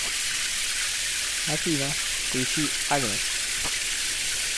афина включи агнес